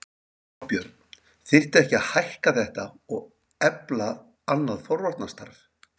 Þorbjörn: Þyrfti ekki að hækka þetta og efla annað forvarnarstarf?